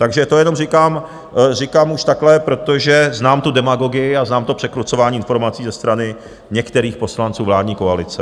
Takže to jenom říkám už takhle, protože znám tu demagogii a znám to překrucování informací ze strany některých poslanců vládní koalice.